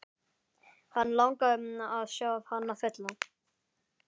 Hann langaði að sjá hana fulla.